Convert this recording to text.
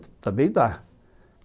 Também dá.